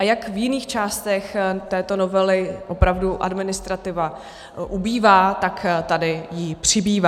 A jak v jiných částech této novely opravdu administrativa ubývá, tak tady jí přibývá.